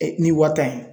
ni wa tan ye